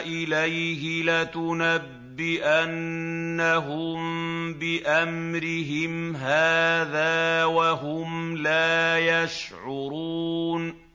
إِلَيْهِ لَتُنَبِّئَنَّهُم بِأَمْرِهِمْ هَٰذَا وَهُمْ لَا يَشْعُرُونَ